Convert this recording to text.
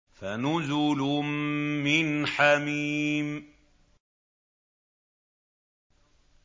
فَنُزُلٌ مِّنْ حَمِيمٍ